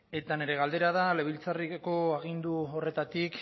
eta nire galdera da legebiltzarreko agindu horretatik